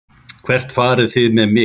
Hvert farið þið með mig?